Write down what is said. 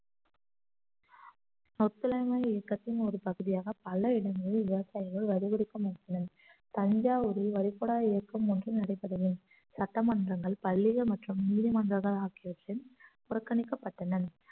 ஒத்துழையாமை இயக்கத்தின் ஒரு பகுதியாக பல இடங்களில் விவசாயிகள் வரிகொடுக்க மறுத்து உள்ளனர் தஞ்சாவூரில் வழிபடா இயக்கம் ஒன்று நடைபெற்றது சட்டமன்றங்கள் பள்ளிகள் மற்றும் நீதிமன்றங்கள் ஆகியவற்றை புறக்கணிக்கப்பட்டனர்